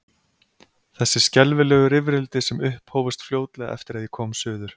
Þessi skelfilegu rifrildi sem upphófust fljótlega eftir að ég kom suður.